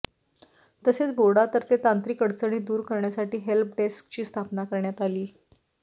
तसेच बोर्डातर्फे तांत्रिक अडचणी दूर करण्यासाठी हेल्प डेस्कची स्थापना करण्यात आली